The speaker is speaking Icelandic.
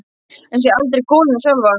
En ég sé aldrei goluna sjálfa.